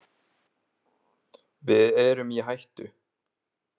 Við erum í hættu!